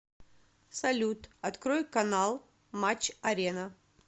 салют открой канал матч арена